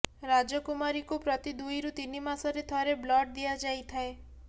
ରାଜକୁମାରୀକୁ ପ୍ରତି ଦୁଇରୁ ତିନି ମାସରେ ଥରେ ବ୍ଲଡ଼ ଦିଆ ଯାଇଥାଏ